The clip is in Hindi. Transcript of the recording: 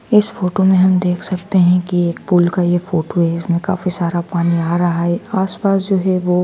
इस फोटो मे हम देख सकते हैं कि एक पूल का ये फोटो है इसमें काफी सारा पानी आ रहा है आस पास जो है वो--